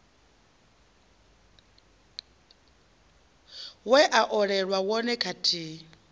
we a olelwa wone kathihi